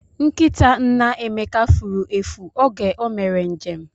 Nkịta nna Emeka furu efu oge o mere njem